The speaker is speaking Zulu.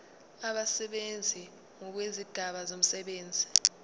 abasebenzi ngokwezigaba zomsebenzi